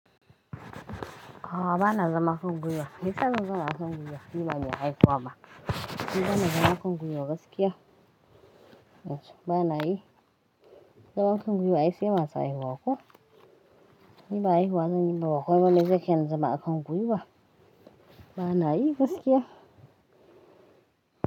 A'a bana zama a kan gwiwa. Maiyasa zan zauna a kan gwiwa? Ni bani haihuwa ma. Ni bana zama a kan gwiwa gaskiya. Bana yi. Zama a kan gwiwa ai se masu haihuwa ko? Ni ba haihuwa zan yi ba komai ba mai zai kai ni zama a kan gwiwa. Bana yi gaskiya.